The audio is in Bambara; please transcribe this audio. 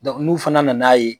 n'u fana na n'a ye